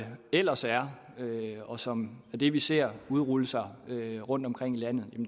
ellers er og som er det vi ser udrulle sig rundtomkring i landet